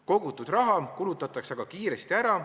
Kogutud raha kulutatakse aga kiiresti ära.